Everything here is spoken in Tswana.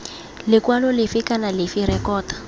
lekwalo lefe kana lefe rekota